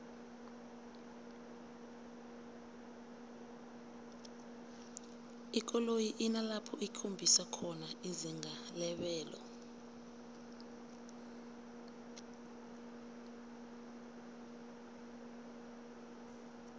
ikoloyi inalapho ikhombisa khona izinga lebelo